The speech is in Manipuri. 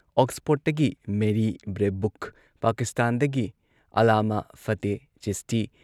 ꯑꯣꯛꯁꯐꯣꯔꯗꯇꯒꯤ ꯃꯦꯔꯤ ꯕ꯭ꯔꯦꯕꯨꯛ, ꯄꯥꯀꯤꯁꯇꯥꯟꯗꯒꯤ ꯑꯥꯜꯂꯥꯃꯥ ꯐꯇꯦꯍ ꯆꯤꯁꯇꯤ ꯫